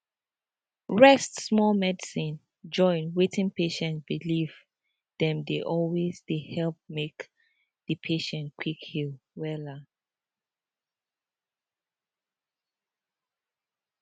rest small medicine join wetin patient believe dem dey always dey help make di patient quick heal wella